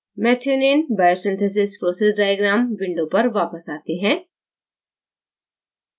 methionine biosynthesis process diagram window पर वापस आते हैं